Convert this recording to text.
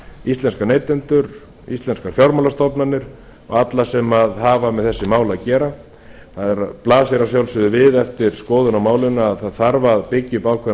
íslenska neytendur fyrir íslenskar fjármálastofnanir og alla sem hafa með þessi mál að gera það blasir að sjálfsögðu við eftir skoðun á málinu að það þarf að byggja upp ákveðna